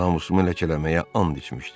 Namusumu ləkələməyə and içmişdi.